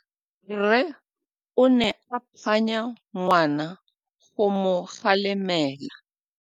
Rre o ne a phanya ngwana go mo galemela.